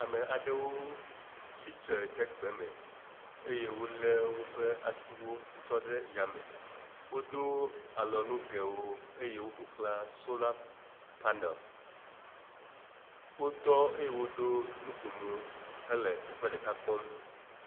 ame aɖewo tsistre ɖe gbeme eye wóle wóƒe asiwo tsɔ ɖe yame , wodó alɔnugɛwo eye wó ƒoxlã sola panel wótɔ eye woɖó nukomo hele teƒeɖeka kpɔm